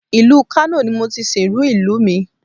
Ìlú Kano ni mo ti sìnrú ìlú mi